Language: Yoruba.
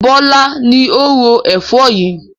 Bọlá ni ó ro Ẹ̀fọ́ yìí